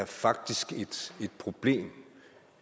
faktisk er et problem